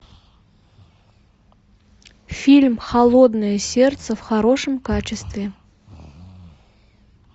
фильм холодное сердце в хорошем качестве